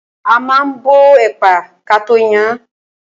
A ma ń bọ ẹ̀pà kató yan án.